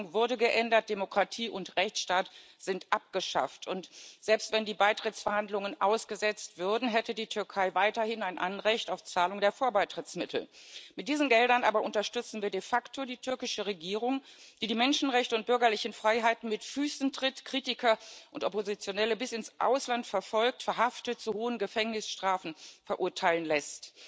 Die Verfassung wurde geändert, Demokratie und Rechtsstaat sind abgeschafft. Selbst wenn die Beitrittsverhandlungen ausgesetzt würden, hätte die Türkei weiterhin ein Anrecht auf Zahlung der Vorbeitrittsmittel. Mit diesen Geldern aber unterstützen wir de facto die türkische Regierung, die die Menschenrechte und bürgerlichen Freiheiten mit Füßen tritt, Kritiker und Oppositionelle bis ins Ausland verfolgt, verhaftet und zu hohen Gefängnisstrafen verurteilen lässt.